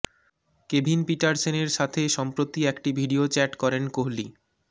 Kevin পিটারসেনের সাথে সম্প্রতি একটি ভিডিও চ্যাট করেন কোহলি